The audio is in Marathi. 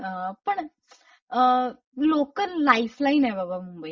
पण लोकल लाईफ लाईन ए बाबा मुंबईची.